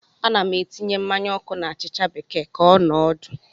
Ana m etinye mmanya ọkụ na achịcha bekee ka ọ nọọ ọdụ.